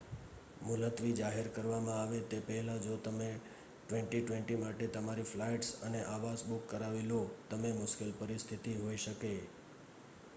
મુલતવી જાહેર કરવામાં આવે તે પહેલાં જો તમે 2020 માટે તમારી ફ્લાઇટ્સ અને આવાસ બુક કરાવી લો, તમે મુશ્કેલ પરિસ્થિતિ હોઈ શકે